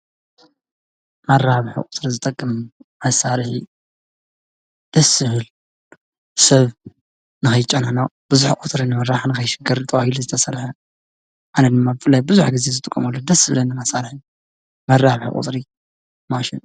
መራብሕ ቕትሪ ዝጠቅም ኣሣረ ደስብል ሰብ ናይጨናኖ ብዙኅ ወትርን መራሕንኸይሽግር ጥዋሂል ዝተሰለሀ ኣነ ድማ ፍልይ ብዙኅ ጊዜ ዝትቆመሉ ደስብለኒመሣለይ መራብሕ ቊጽሪ ማሽን እዩ።